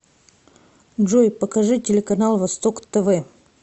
джой покажи телеканал восток тв